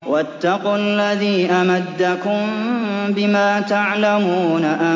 وَاتَّقُوا الَّذِي أَمَدَّكُم بِمَا تَعْلَمُونَ